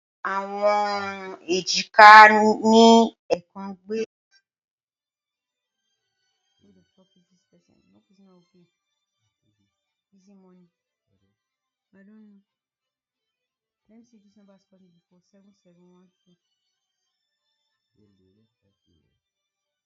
Awọn ejika, ni ẹẹkan gbe iwuwo ti awọn ala ati awọn ẹru